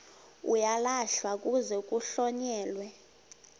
uyalahlwa kuze kuhlonyelwe